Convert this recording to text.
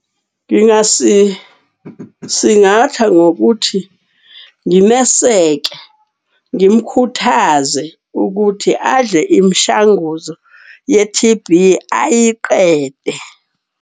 Ngingasisingatha ngokuthi ngimeseke ngimkhuthaze ukuthi adle imishanguzo ye-T_B ayiqede.